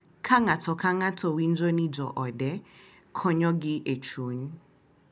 Ka ng’ato ka ng’ato winjo ni joode konyogi e chuny,